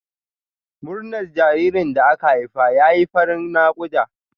Murnar jaririn da aka haifa ya fi zafin naƙuda.